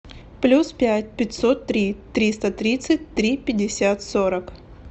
плюс пять пятьсот три триста тридцать три пятьдесят сорок